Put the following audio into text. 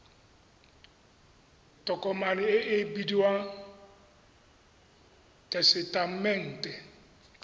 tokomane e e bidiwang tesetamente